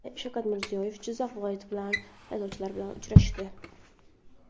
Shavkat Mirziyoyev Jizzax viloyati saylovchilari bilan uchrashdi.